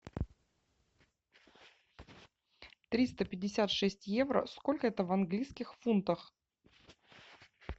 триста пятьдесят шесть евро сколько это в английских фунтах